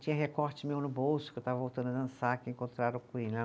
Tinha recorte meu no bolso, que eu estava voltando a dançar, que encontraram